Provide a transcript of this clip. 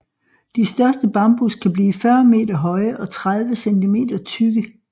De største bambus kan blive 40 meter høje og 30 centimeter tykke